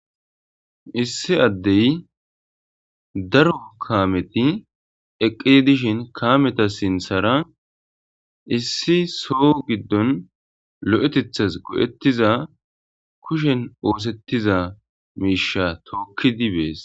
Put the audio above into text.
Issi addey daro kaameti eqedishin kameta sinthara issi so giddon lo7etethas go7ettiza kushen oosettiza miisha tookkidibees.